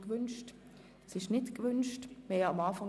– Das ist nicht der Fall.